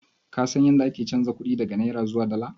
Ka san yadda ake chanza kuɗi daga naira zuwa dala?